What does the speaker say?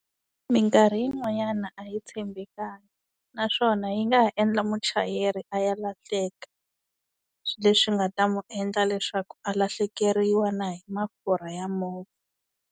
Minkarhi yin'wanyana a yi tshembekanga, naswona yi nga ha endla muchayeri a ya lahleka. Leswi nga ta n'wi endla leswaku a lahlekeriwa na hi mafurha ya movha.